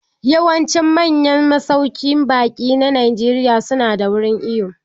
Yawancin manyan masauƙin baƙi na Najeriya su nada wurin iwo.